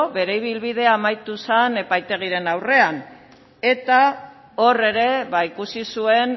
bere ibilbidea amaitu zen epaitegien aurrean eta hor ere ikusi zuen